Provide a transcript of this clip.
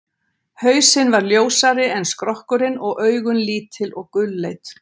hausinn var ljósari en skrokkurinn og augun lítil og gulleit